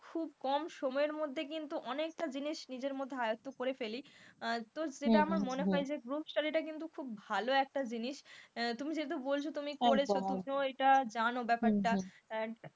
খুব কম সময়ের মধ্যেই কিন্তু অনেকটা জিনিস নিজের মধ্যে আয়ত্ত করে ফেলি তো যেটা আমার মনে হয় group study টা কিন্তু খুব ভালো একটা জিনিস তুমি যেহেতু বলেছ তুমি করেছ সেই জন্য জানো এইটা ব্যাপারটা,